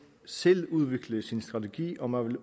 selv udvikle sin strategi og man